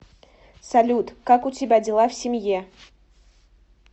салют как у тебя дела в семье